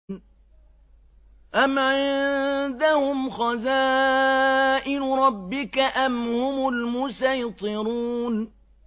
أَمْ عِندَهُمْ خَزَائِنُ رَبِّكَ أَمْ هُمُ الْمُصَيْطِرُونَ